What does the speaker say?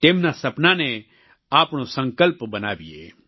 તેમના સપનાને આપણો સંકલ્પ બનાવીએ